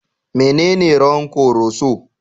Menene rawan Koroso?